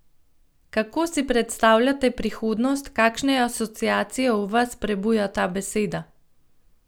Kako si predstavljate prihodnost, kakšne asociacije v vas prebuja ta beseda?